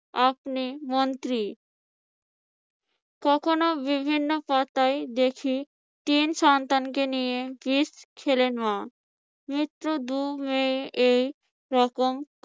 আপনি মন্ত্রি কখনো বিভিন্ন পাতায় দেখি, তিন সন্তানকে নিয়ে বিষ খেলেন মা। এইরকম